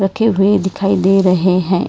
के हुए दिखाई दे रहे हैं।